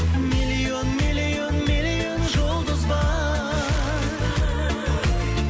миллион миллион миллион жұлдыз бар